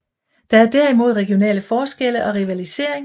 Der er derimod regionale forskelle og rivalisering